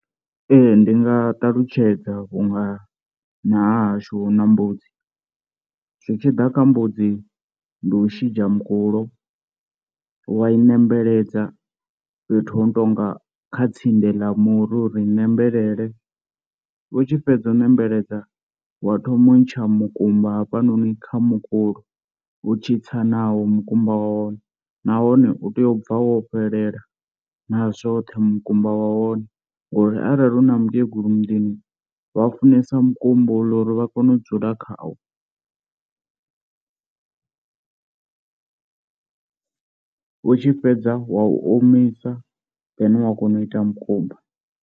Ee ndi nga ṱalutshedza vhunga na hahashu hu na mbudzi, zwitshiḓa kha mbudzi ndi u shidzha mukulo, wa i nembelela fhethu hono tonga kha tsindi ḽa muri uri i nembelela, u tshi fhedza u nembeledza wa thoma u ntsha mukumba hafhanoni kha mukulo u tshi tsa nawo mukumba wa hone, nahone u tea u bva wo fhelela na zwoṱhe mukumba wa hone ngori arali hu na mukegulu muḓini vha funesa mukumba houla uri vha kone u dzula khawo, u tshi fhedza wa u omisa then wa kona u ita mukumba.